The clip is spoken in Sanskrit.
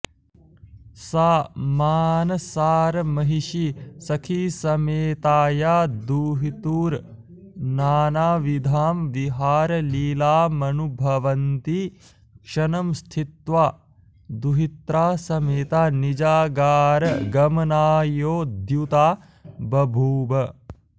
सा मानसारमहिषी सखीसमेताया दुहितुर्नानाविधां विहारलीलामनुभवन्ती क्षणं स्थित्वा दुहित्रा समेता निजागारगमनायोद्युक्ता बभूव